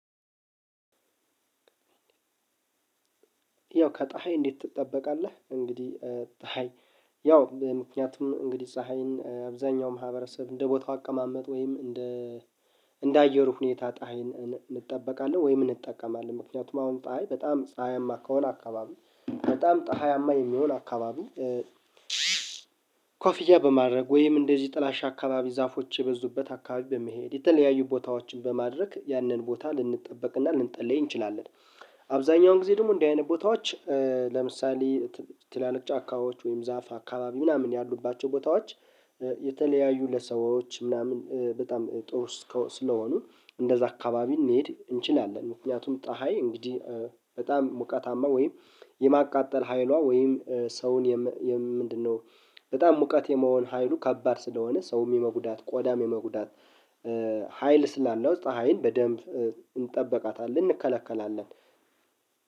ያው ከፀሀይ እንዴት ትጠበቃለህ? እንግዲህ ፀሀይ ምክንያቱም እንግዲህ ፀሀይን አብዛኛው ማህበረሰብ እንደ ቦታው አቀማመጥ ወይም። እንደ አየሩ ሁኔታ ፀሀይን እንጠበቃለን ወይም እንጠቀማለን ምክንያቱም አሁን ጣይ በጣም ጣያማ ከሆነ አካባቢ በጣም ጣሃያማ የሚሆን አካባቢ ኮፊያ በማድረግ ወይም እንደዚህ ጥላሻ አካባቢ ዛፎች የበዙበት አካባቢ በመሄድ የተለያዩ ቦታዎችን በማድረግ ያንን ቦታ ልንጠበቅና ልንጠለይ እንችላለን። አብዛኛውን ጊዜ ደግሞ እንደዚህ አይነት ቦታዎች። ለምሳሌ ትላልቅ ጫካዎች ወይም ዛፍ አካባቢ ምናምን ያሉባቸው ቦታዎች። የተለያዩ ለሰዎች ምናምን በጣም ጥሩ ስለሆኑ እንደዛ አካባቢ ልንሄድ እንችላለን። ምክንያቱም ፀሀይ እንግዲህ በጣም ሙቀታማ ወይም የማቃጠል ሀይሏ ወይም ሰውን ምንድነው በጣም ሙቀት የመሆን ሀይሉ ከባድ ስለሆነ ሰውም የመጉዳት ቆዳም የመጉዳት ሀይል ስላለው ውስጥ ሀይል በደንብ እንጠብቃታለን እንከለከላለን።